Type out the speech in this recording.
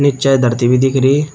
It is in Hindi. पीछे धरती भी दिख रही--